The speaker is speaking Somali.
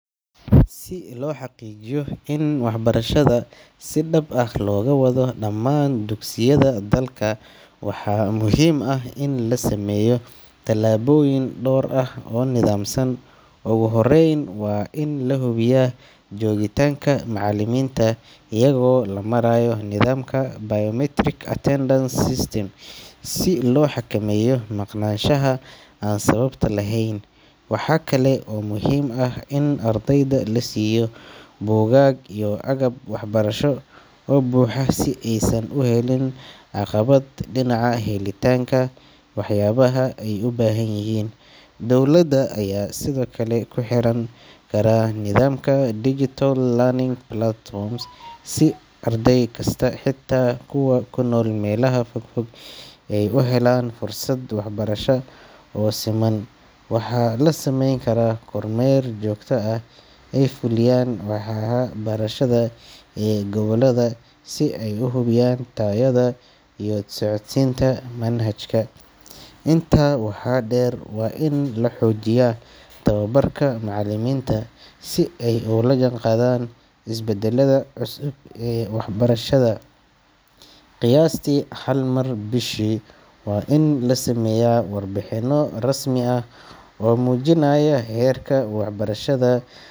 Si loo xaqiijiyo in waxbarashada si dhab ah looga wado dhammaan dugsiyada dalka, waxaa muhiim ah in la sameeyo tallaabooyin dhowr ah oo nidaamsan. Ugu horreyn, waa in la hubiyaa joogitaanka macallimiinta iyagoo loo marayo nidaamka biometric attendance system si loo xakameeyo maqnaanshaha aan sababta lahayn. Waxa kale oo muhiim ah in ardayda la siiyo buugaag iyo agab waxbarasho oo buuxa si aysan u helin caqabad dhinaca helitaanka waxyaabaha ay u baahan yihiin. Dowladda ayaa sidoo kale ku xiran kara nidaamka digital learning platforms si arday kasta, xitaa kuwa ku nool meelaha fog fog, ay u helaan fursad waxbarasho oo siman. Waxaa la samayn karaa kormeer joogto ah oo ay fuliyaan waaxaha waxbarashada.